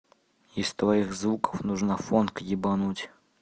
из твоих звуков нужно фонд ебануть